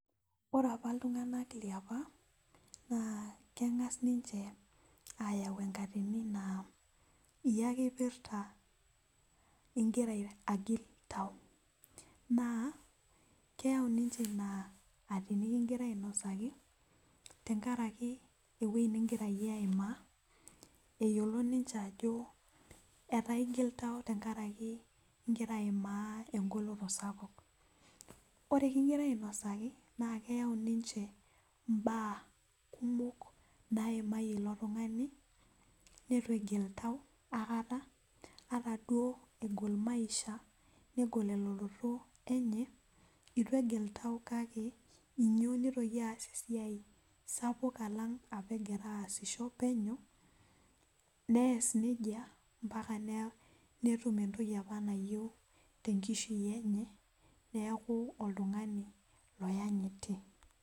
Ore apa iltunganak liapa naa kengas ninche ayau enkatini naa yie ake epirta kingira agil tau .naa keyau ninche ina atoni kingira ainosaki tenkaraki eweji ningira yie aimaa eyiolo ninche ajo etaa igil tau ingira aimaa engoloto sapuk ,ore kingirae ainosaki naa keyau ninche mbaa kumok naimayie ilo tungani neitu egil tau aikata ata duo negol maisha, negol elototo enye eitu egil tau kake meyieu nitoki aas esiai sapuk alang apa egira aasisho penyo nees nejia mpaka netum entoki apa nayieu temaisha enye neeku oltungani loyanyiti.